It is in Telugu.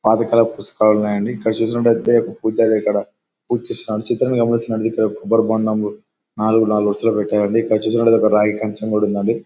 పాతకాలపు పుస్తకాలున్నాయి అంది. ఇక్కడ చూసినట్టయితే ఒక పూజారి ఇక్కడ పూజ చేస్తున్నాడు. చిత్రాన్ని గమనించినట్లయితే కొబ్బరి బొండాలు నాలుగు నాలుగు వరుసలలో పెట్టారండి. ఇక్కడ చూసినట్టయితే రాగి కంచం కూడా ఉందండి.